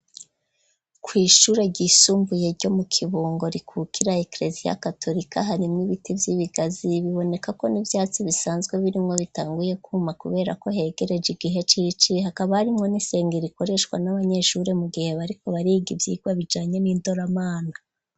Kw'ishure ryisumbuye ryo mu kibungo rikukira eklesi ya katolika, hari mw'ibiti vy'ibigazi, biboneka ko n'ivyatsi bisanzwe birimwo bitanguye kuma ,kubera ko hegereje igihe cirici, hakaba hari mwo n'isengero, rikoreshwa n'abanyeshure mu gihe bariko bariga ivyigwa bijanye n'indoramana.